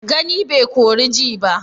Gani bai kori ji ba?